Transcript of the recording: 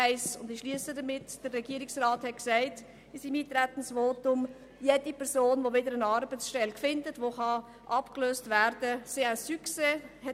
Der Regierungsrat hat in seinem Eintretensvotum gesagt, jede Person, die wieder eine Arbeitsstelle findet und von der Sozialhilfe abgelöst werden kann, sei «un succès».